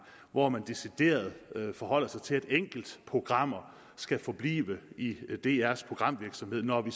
hvor man decideret forholder sig til at enkeltprogrammer skal forblive i drs programvirksomhed når vi